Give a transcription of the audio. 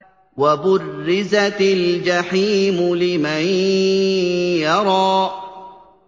وَبُرِّزَتِ الْجَحِيمُ لِمَن يَرَىٰ